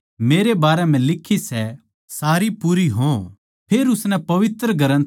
फेर उसनै पवित्र ग्रन्थ बुझण के खात्तर उनकी बुध्दि खोल दी